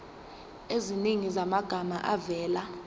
eziningi zamagama avela